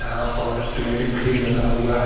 यहां पर पेड़ भी लगा हुआ है।